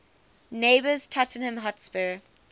neighbours tottenham hotspur